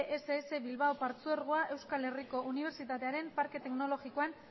ess bilbao partzuergoa euskal herriko unibertsitatearen parke teknologikoan